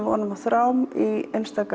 vonum af þrám í